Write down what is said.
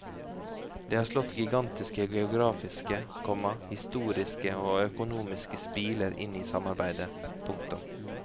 Det er slått gigantiske geografiske, komma historiske og økonomiske spiler inn i samarbeidet. punktum